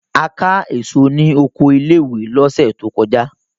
A ká èso ní oko ilé-ìwé lọ́sẹ̀ tó kọjá.